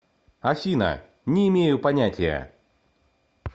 афина не имею понятия